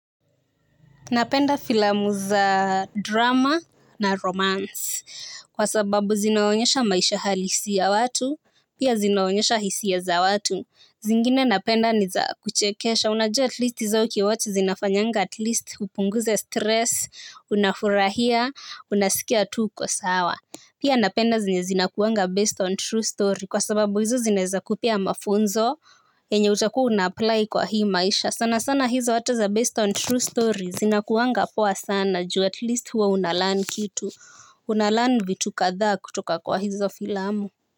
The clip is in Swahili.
Napenda filamu za drama na romance, kwa sababu zinaonyesha maisha halisi ya watu, pia zinaonyesha hisia za watu. Zingine napenda ni za kuchekesha, unajua atleast zao ukiwatch zinafanyanga at least upunguze stress, unafurahia, unasikia tu kwa sawa. Pia napenda zenye zinakuanga based on true story kwa sababu hizo zinaweza kupea mafunzo yenye utakuwa unaapply kwa hii maisha sana sana hizo hata za based on true story zinakuanga poa sana juu atleast huwa unalearn kitu. Una learn vitu kadhaa kutoka kwa hizo filamu.